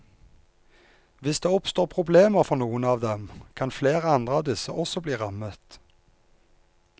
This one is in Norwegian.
Hvis det oppstår problemer for noen av dem, kan flere andre av disse også bli rammet.